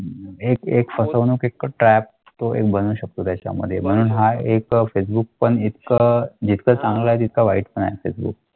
Trap तो एक बनू शकतो त्याच्या मध्ये म्हणून हा एक फेसबुक पण एक एकतर चांगल्या वाईट पण असेल एक.